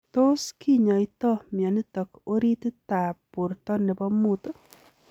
Tos kinyaitaa mionitok oritit ap porto nepoo muut?